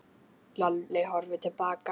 Lalli horfði til baka.